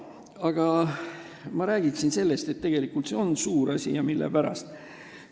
Aga ma räägiksin sellest, et tegelikult see on suur asi, ja mille pärast.